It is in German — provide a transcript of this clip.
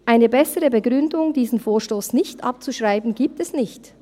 Eine bessere Begründung, diesen Vorstoss nicht abzuschreiben, gibt es nicht.